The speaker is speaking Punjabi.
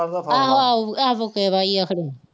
ਆਹੋ ਆਹੋ ਐਵੋਕੇਵਾ ਹੀ ਹੈ ਖਨੀ